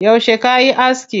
Yauce kayi aski?